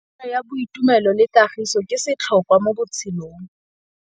Tsalano ya boitumelo le kagiso ke setlhôkwa mo botshelong.